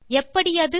எப்படி அது